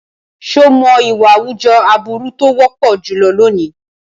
Ṣé o mọ̀ ìwà àwùjọ aburú tó wọ́pọ̀ jùlọ lónìí?